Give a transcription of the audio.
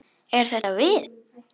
Eru þetta við?